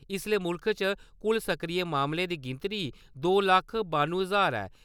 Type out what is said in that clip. इसले मुल्ख च कुल सक्रिय मामले दी गिनतरी दो लक्ख बानुएं ज्हार ऐ।